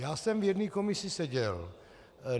Já jsem v jedné komisi seděl.